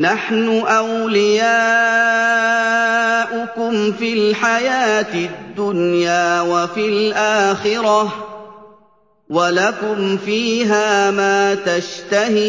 نَحْنُ أَوْلِيَاؤُكُمْ فِي الْحَيَاةِ الدُّنْيَا وَفِي الْآخِرَةِ ۖ وَلَكُمْ فِيهَا مَا تَشْتَهِي